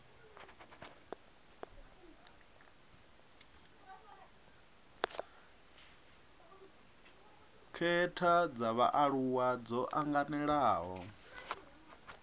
khetha dza vhaaluwa dzo anganelaho